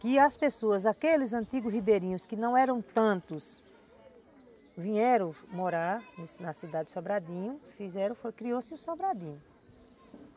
E as pessoas, aqueles antigos ribeirinhos, que não eram tantos, vieram morar na cidade de Sobradinho, fizeram-se, criou-se o Sobradinho.